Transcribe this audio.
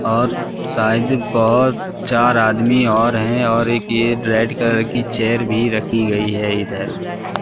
और शायद बहोत चार आदमी और हैं और एक ये रेड कलर की चेयर भी रखी गई है इधर--